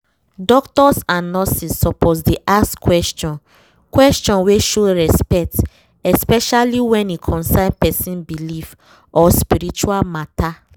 doctors and nurses suppose dey ask question question wey show respect especially when e concern person belief or spiritual matter